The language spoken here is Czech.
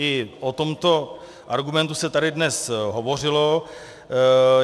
I o tomto argumentu se tady dnes hovořilo.